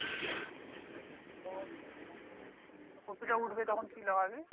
ওহ তো কপিটা উঠবে তখন কি লাগাবি?